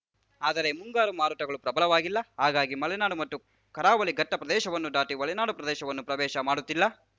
ಆದರೆ ಮುಂಗಾರು ಮಾರುತಗಳು ಪ್ರಬಲವಾಗಿಲ್ಲ ಹಾಗಾಗಿ ಮಲೆನಾಡು ಮತ್ತು ಕರಾವಳಿ ಘಟ್ಟಪ್ರದೇಶವನ್ನು ದಾಟಿ ಒಳನಾಡು ಪ್ರದೇಶವನ್ನು ಪ್ರವೇಶ ಮಾಡುತ್ತಿಲ್ಲ